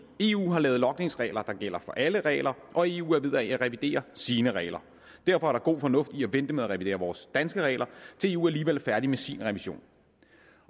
eu har lavet logningsregler der gælder for alle regler og eu er ved at revidere sine regler derfor er der god fornuft i at vente med at revidere vores danske regler til eu alligevel er færdig med sin revision